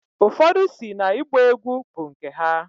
Ụfodụ si na igba egwu bu nke ha.